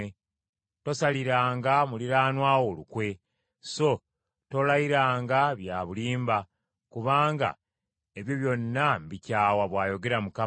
tosaliranga muliraanwa wo lukwe. So tolayiranga bya bulimba, kubanga ebyo byonna mbikyawa,” bw’ayogera Mukama .